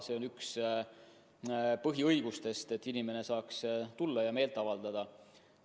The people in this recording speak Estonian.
See on üks põhiõigustest, et inimene saaks tulla ja meelt avaldada.